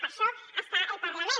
per a això hi ha el parlament